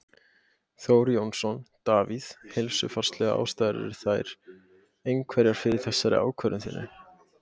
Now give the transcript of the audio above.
Þór Jónsson: Davíð, heilsufarslegar ástæður eru þær einhverjar fyrir þessari ákvörðun þinni?